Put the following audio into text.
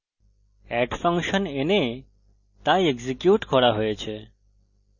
add function এনে the execute করা হয়েছে